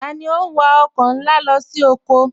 Tani o n wà ọkọ nlá lọ sí ọkọ?